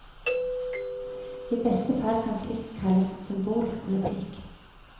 I beste fall kan slikt kalles symbolpolitikk.